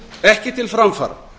ekki til framfara